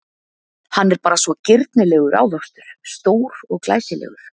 Hann er bara svo girnilegur ávöxtur, stór og glæsilegur.